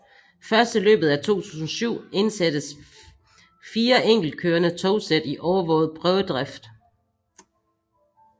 Først i løbet af 2007 indsattes fire enkeltkørende togsæt i overvåget prøvedrift